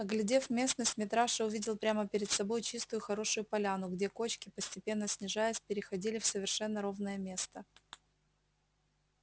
оглядев местность митраша увидел прямо перед собой чистую хорошую поляну где кочки постепенно снижаясь переходили в совершенно ровное место